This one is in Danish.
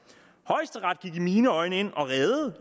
højesteret gik i mine øjne ind og reddede